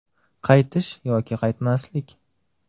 Qaytish yoki qaytmaslik?